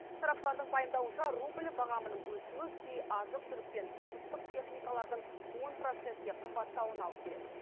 сарапшылардың пайымдауынша рубль бағамының өсуі кей азық түлік пен тұрмыстық техникалардың он процентке қымбаттауына алып келеді